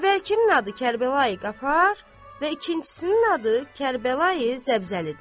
Əvvəlkinin adı Kərbəla Qafar və ikincisinin adı Kərbəla Zəbzəlidir.